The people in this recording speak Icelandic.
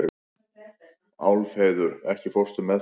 Úlfheiður, ekki fórstu með þeim?